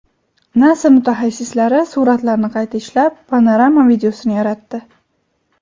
Nasa mutaxassislari suratlarni qayta ishlab, panorama videosini yaratdi.